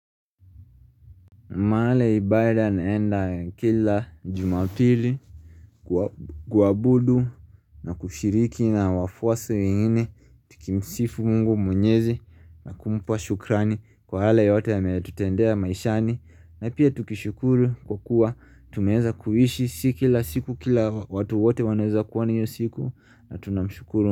Mahala ya ibada naenda kila jumapili kuwabu kuabudu na kushiriki na wafuasi wengine tukimsifu Mungu mwenyezi na kumpa shukrani kwa yale yote ameyatutendea maishani. Na pia tukishukuru kwa kuwa tumeeza kuhishi si kila siku kila watu wote wanaeza kuwa na hiyo siku na tunamshukuru.